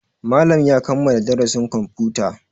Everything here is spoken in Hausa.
Malam ya kammala darasin kwamfuta.